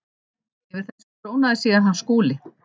Yfir þessu trónaði síðan hann Skúli.